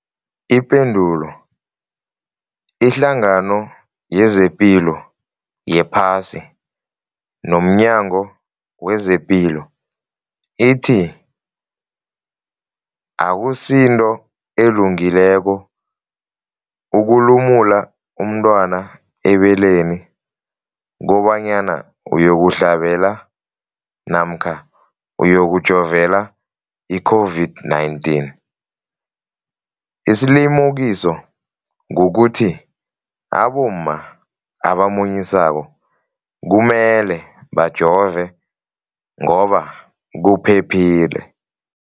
Ipendulo, iHlangano yezePilo yePhasi nomNyango wezePilo ithi akusinto elungileko ukulumula umntwana ebeleni kobanyana uyokuhlabela namkha uyokujovela i-COVID-19. Isilimukiso kukuthi abomma abamunyisako kumele bajove ngoba kuphephile.